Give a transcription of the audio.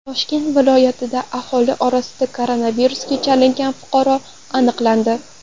Toshkent viloyatida aholi orasida koronavirusga chalingan fuqaro aniqlandi.